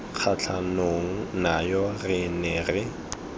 kgatlhanong nayo re ne re